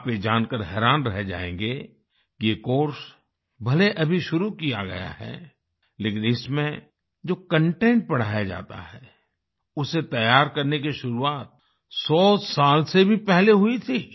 आप ये जानकर हैरान रह जाएंगे कि ये कोर्स भले अभी शुरू किया गया है लेकिन इसमें जो कंटेंट पढ़ाया जाता है उसे तैयार करने की शुरुआत 100 साल से भी पहले हुई थी